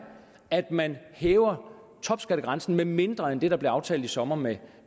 at man hæver topskattegrænsen med mindre end det der blev aftalt i sommer med